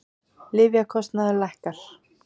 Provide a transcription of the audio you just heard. Lyfjakostnaður lækkar